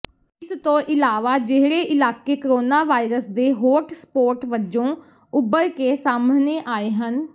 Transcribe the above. ਇਸ ਤੋਂ ਇਲਾਵਾ ਜਿਹੜੇ ਇਲਾਕੇ ਕਰੋਨਾ ਵਾਇਰਸ ਦੇ ਹੋਟਸਪੌਟ ਵਜੋਂ ਉਭਰ ਕੇ ਸਾਹਮਣੇ ਆਏ ਹਨ